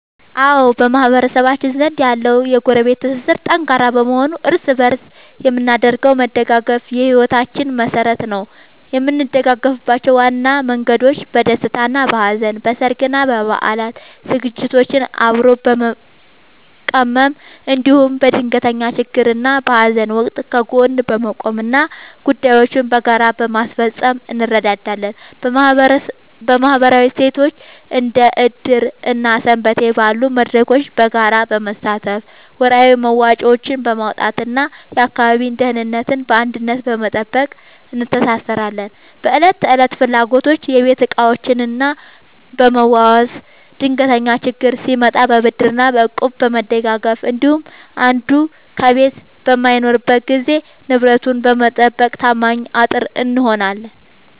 አዎ፣ በማህበረሰባችን ዘንድ ያለው የጎረቤት ትስስር ጠንካራ በመሆኑ እርስ በእርስ የምናደርገው መደጋገፍ የሕይወታችን መሠረት ነው። የምንደጋገፍባቸው ዋና መንገዶች፦ በደስታና በሐዘን፦ በሠርግና በበዓላት ዝግጅቶችን አብሮ በመቀመም፣ እንዲሁም በድንገተኛ ችግርና በሐዘን ወቅት ከጎን በመቆምና ጉዳዮችን በጋራ በማስፈጸም እንረዳዳለን። በማኅበራዊ እሴቶች፦ እንደ ዕድር እና ሰንበቴ ባሉ መድረኮች በጋራ በመሳተፍ፣ ወርሃዊ መዋጮዎችን በማዋጣትና የአካባቢን ደህንነት በአንድነት በመጠበቅ እንተሳሰራለን። በዕለት ተዕለት ፍላጎቶች፦ የቤት ዕቃዎችን በመዋዋስ፣ ድንገተኛ ችግር ሲመጣ በብድርና በእቁብ በመደጋገፍ እንዲሁም አንዱ ከቤት በማይኖርበት ጊዜ ንብረትን በመጠባበቅ ታማኝ አጥር እንሆናለን።